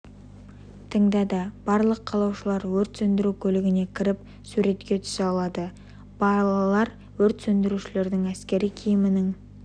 тыңдады барлық қалаушылар өрт сөндіру көлігіне кіріп суретке түсе алды балалар өрт сөндірушінің әскери киімінің